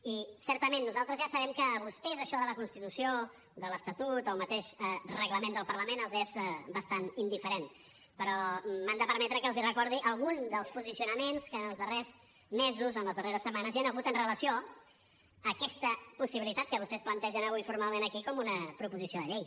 i certament nosaltres ja sabem que a vostès això de la constitució de l’estatut el mateix reglament del parlament els és bastant indiferent però m’han de permetre que els recordi algun dels posicionaments que en els darrers mesos en les darreres setmanes hi han hagut amb relació a aquesta possibilitat que vostès plantegen avui formalment aquí com una proposició de llei